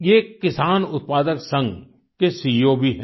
ये एक किसान उत्पादक संघ के सीईओ भी हैं